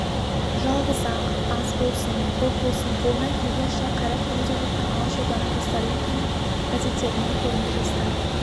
жалғыз-ақ аз болсын көп болсын қолынан келгенше қайрат көрсетіп жатқан алашорданың жастары екені газеттерінен көрінді жастар